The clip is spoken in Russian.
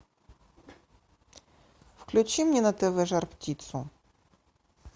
включи мне на тв жар птицу